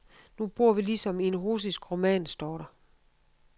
Nu bor vi ligesom i en russisk roman, står der.